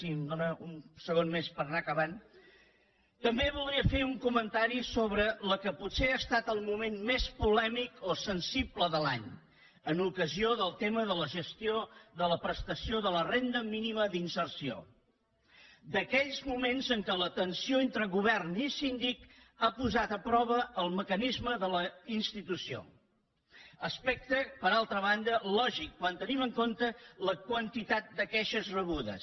si em dóna un segon més per anar acabant també voldria fer un comentari sobre el que ha estat potser el moment més polèmic o sensible de l’any en ocasió del tema de la gestió de la prestació de la renda mínima d’inserció d’aquells moments en els quals la tensió entre govern i síndic ha posat a prova el mecanisme de la institució aspecte per altra banda lògic quan tenim en compte la quantitat de queixes rebudes